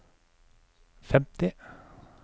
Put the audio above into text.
femti